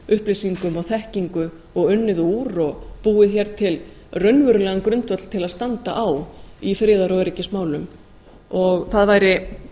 upplýsingum og þekkingu og unnið úr og búið hér til raunverulegan grundvöll til að standa á í friðar og öryggismálum það væri